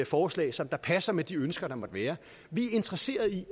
forslag som passer med de ønsker der måtte være vi er interesseret i